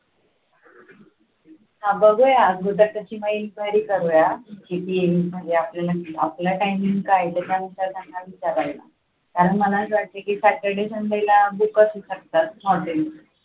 हा बघूया अगोदर त्याची मग enquiry करूया किती येईल, आपला timing काय आहे त्याच्यानुसार त्यांना विचारायला कारण मला असं वाटते की Saturday Sunday ला booked असू शकतात hotels